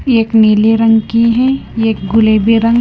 एक नीले रंग की हैं एक गुलेबी रंग--